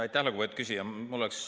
Aitäh, lugupeetud küsija!